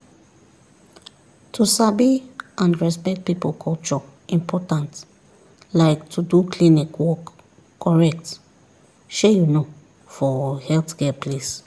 to sabi and respect people culture important like to do klinik work correct shey you know for healthcare place